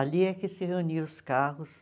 Ali é que se reuniam os carros.